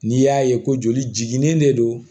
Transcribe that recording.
N'i y'a ye ko joli de don